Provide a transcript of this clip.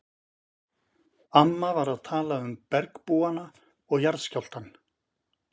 Amma var að tala um bergbúana og jarðskjálftann!